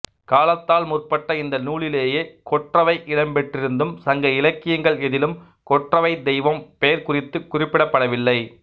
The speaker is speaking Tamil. காலத்தால் முற்பட்ட இந்த நூலிலேயே கொற்றவை இடம்பெற்றிருந்தும் சங்க இலக்கியங்கள் எதிலும் கொற்றவைத் தெய்வம் பெயர் குறித்துக் குறிப்பிடப்படவில்லை